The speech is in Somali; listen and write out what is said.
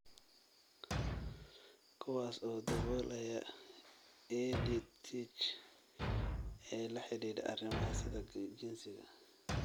Kuwaas oo daboolaya EdTech ee la xidhiidha arrimaha sida jinsiga,